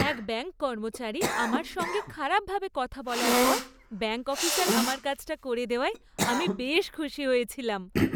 এক ব্যাঙ্ক কর্মচারী আমার সঙ্গে খারাপভাবে কথা বলার পর ব্যাঙ্ক অফিসার আমার কাজটা করে দেওয়ায় আমি বেশ খুশি হয়েছিলাম।